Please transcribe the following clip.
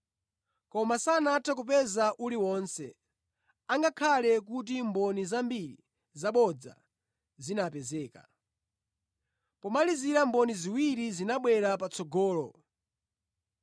Koma sanathe kupeza uliwonse, angakhale kuti mboni zambiri zabodza zinapezeka. Pomalizira mboni ziwiri zinabwera patsogolo.